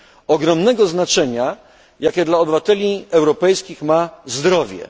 ogromnego znaczenia, jakie dla obywateli europejskich ma zdrowie.